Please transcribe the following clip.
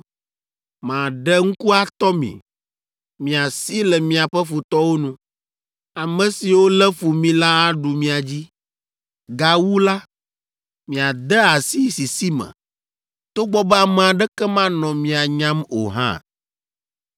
“Maɖe ŋku atɔ mi; miasi le miaƒe futɔwo nu. Ame siwo lé fu mi la aɖu mia dzi. Gawu la, miade asi sisi me, togbɔ be ame aɖeke manɔ mia nyam o hã!